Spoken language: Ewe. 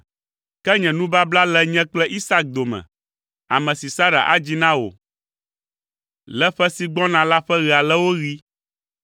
Ke nye nubabla le nye kple Isak dome, ame si Sara adzi na wò le ƒe si gbɔna la ƒe ɣe aleawo ɣi.”